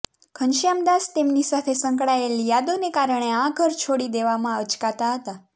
ઘનશ્યામદાસ તેમની સાથે સંકળાયેલ યાદો ને કારણે આ ઘર છોડી દેવામાં અચકાતા હતા